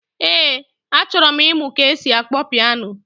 Ee, achọrọ m ịmụ ka esi akpọ pịano